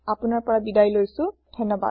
যোগদানৰ বাবে ধন্যবাদ